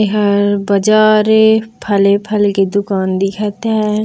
यहर बाज़ारे फले-फल के दुकान दिखत है।